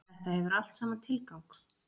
Þetta hefur allt saman tilgang.